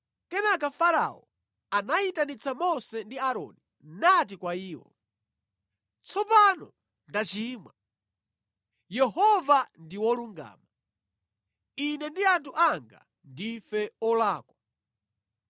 Kenaka Farao anayitanitsa Mose ndi Aaroni nati kwa iwo, “Tsopano ndachimwa, Yehova ndi wolungama, ine ndi anthu anga ndife olakwa.